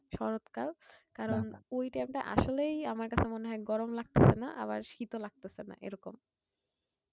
শরৎ কাল কারণ ওই time টা আসলেই আমার কাছে মনে হয় গরম লাগতেছেনা আবার শীত ও লাগতেছেনা এরকম।